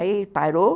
Aí ele parou.